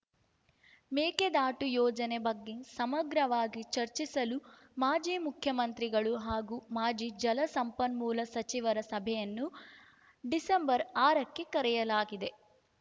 ಮೇಕೆದಾಟು ಯೋಜನೆ ಬಗ್ಗೆ ಸಮಗ್ರವಾಗಿ ಚರ್ಚಿಸಲು ಮಾಜಿ ಮುಖ್ಯಮಂತ್ರಿಗಳು ಹಾಗೂ ಮಾಜಿ ಜಲಸಂಪನ್ಮೂಲ ಸಚಿವರ ಸಭೆಯನ್ನು ಡಿಸೆಂಬರ್ ಆರಕ್ಕೆ ಕರೆಯಲಾಗಿದೆ